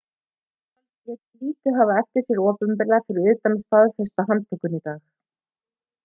yfirvöld létu hafa lítið eftir sér opinberlega fyrir utan að staðfesta handtökuna í dag